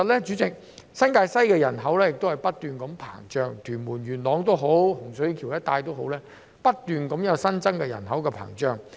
主席，新界西的人口不斷膨脹，無論屯門、元朗或洪水橋一帶都持續有新增人口。